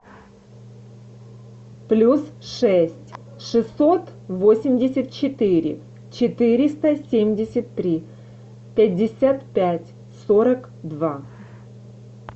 плюс шесть шестьсот восемьдесят четыре четыреста семьдесят три пятьдесят пять сорок два